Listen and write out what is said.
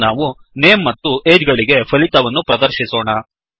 ಈಗ ನಾವು ನೇಮ್ ಮತ್ತು ಅಗೆ ಗಳಿಗೆ ಫಲಿತವನ್ನುಪ್ರದರ್ಶಿಸೋಣ